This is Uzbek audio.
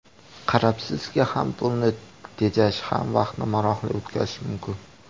Qarabsizki, ham pulni tejash, ham vaqtni maroqli o‘tkazish mumkin.